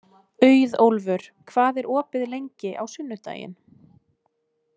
Auðólfur, hvað er opið lengi á sunnudaginn?